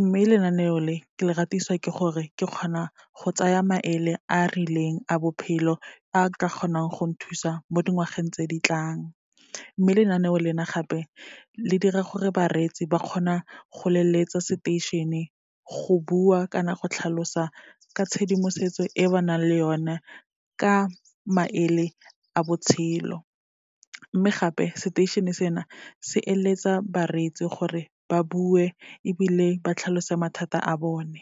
mme lenaneo le ke le ratiswa ke gore ke kgona go tsaya maele a a rileng a bophelo, a ka kgonang go nthusa mo dingwageng tse ditlang. Mme lenaneo lena gape, le dira gore bareetsi ba kgona go leletsa seteišene go bua kana go tlhalosa ka tshedimosetso e ba nang le yona ka maele a botshelo. Mme gape, seteišene sena se eletsa bareetsi gore ba bue ebile ba tlhalose mathata a bone.